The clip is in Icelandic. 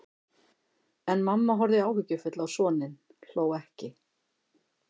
En mamma horfði áhyggjufull á soninn, hló ekki.